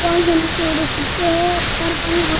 बो आंख्या मिचोड़ो सुतो है सारे पानी --